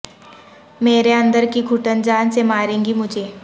میرے اندر کی گھٹن جان سے مارے گی مجھے